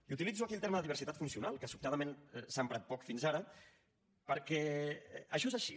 i utilitzo aquí el terme de diversitat funcional que sobtadament s’ha emprat poc fins ara perquè això és així